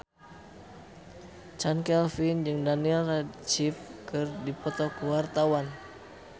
Chand Kelvin jeung Daniel Radcliffe keur dipoto ku wartawan